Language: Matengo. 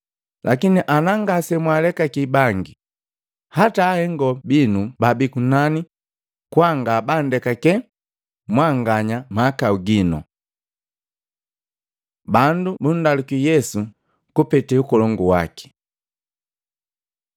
Lakini ana ngasemwaalekaki bangi, hata Ahengo binu baabii kunani kwa ngabandekake mwanganya mahakau ginu.” Bandu bundaluki Yesu kupete Ukolongu waki Matei 21:23-27; Luka 20:1-8